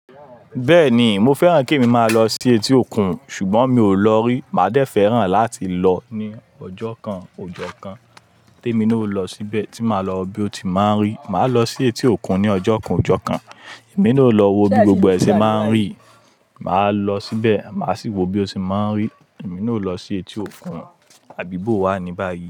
Bẹ́ẹ̀ni, mo fẹ́ràn kí emi máa lọ sí etí òkun, ṣùgbọ́n mi ò lọ rí. Màá dẹ́ fẹ́ràn láti lọ ní ọjọ́ kan, ọjọ́ kan ti émi naa o lọ síbẹ̀, tí máa lọ wo bí ó ti máa ń rí. Màá lọ sí etí òkun ní ọjọ́ kan, ọjọ́ kan. Èmi naa o lọ wo bí gbogbo ẹ ṣe máa ń rí. Màá lọ síbẹ̀, màá sì wo bí ó ti máa ń rí. Èmi naa o lọ sí etí òkun. Abi bówà ní báyìí.